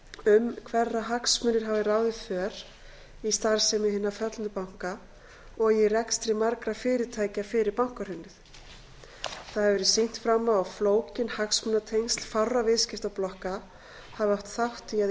um hverra hagsmunir hafi ráðið för í starfsemi hinna föllnu banka og í rekstri margra fyrirtækja fyrir bankahrunið sýnt hefur verið fram á að flókin hagsmunatengsl fárra viðskiptablokka hafi átt þátt í að